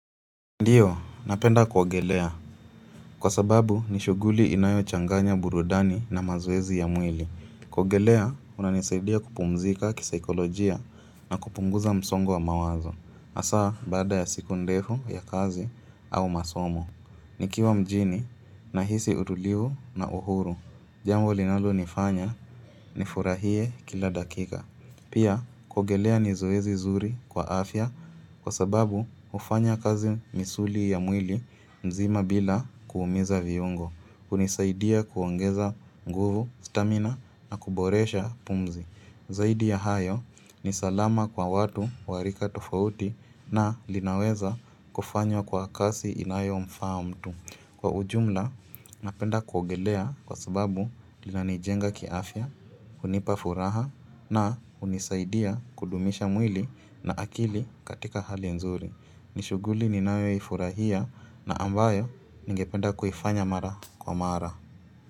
Ndio, napenda kuogelea. Kwa sababu, ni shughuli inayochanganya burudani na mazoezi ya mwili. Kuogelea, kunanisaidia kupumzika kisaikolojia na kupunguza msongo wa mawazo. Hasa, baada ya siku ndefu ya kazi au masomo. Nikiwa mjini, nahisi utulivu na uhuru. Jambo linalonifanya, ni furahie kila dakika. Pia, kuogelea ni zoezi nzuri kwa afya kwa sababu hufanya kazi misuli ya mwili mzima bila kuumiza viungo, hunisaidia kuongeza nguvu, stamina na kuboresha pumzi. Zaidi ya hayo ni salama kwa watu warika tofauti na linaweza kufanywa kwa kasi inayo mfaa mtu. Kwa ujumla, napenda kuogelea kwa sababu lina nijenga kiafya, hunipa furaha na hunisaidia kudumisha mwili na akili katika hali nzuri. Nishuguli ninayo i furahia na ambayo ningependa kuifanya mara kwa mara.